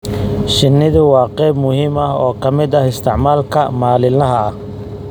Shinnidu waa qayb muhiim ah oo ka mid ah isticmaalka maalinlaha ah.